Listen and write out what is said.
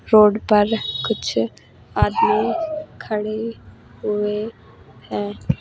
Road पर कुछ आदमी खड़े हुए हैं।